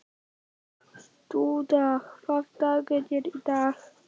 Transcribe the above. Dúna, hvaða dagur er í dag?